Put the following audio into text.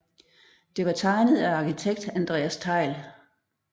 Det var tegnet af arkitekt Andreas Thejll